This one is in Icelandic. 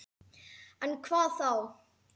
En hvað þá?